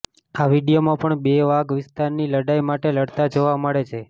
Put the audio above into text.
આ વિડીયોમાં પણ બે વાઘ વિસ્તારની લડાઈ માટે લડતા જોવા મળે છે